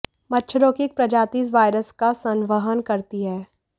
मच्छरों की एक प्रजाति इस वायरस का संवहन करती है